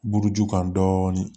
Buruju kan dɔɔnin